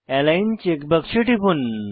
align check বাক্সে টিপুন